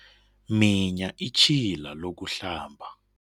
Minya itjhila lokuhlamba.